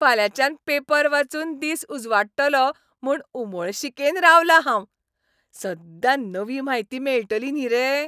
फाल्यांच्यान paper वाचून दीस उजवाडटलो म्हूण उमळशिकेन रावलां हांव. सद्दां नवी म्हायती मेळटली न्ही रे.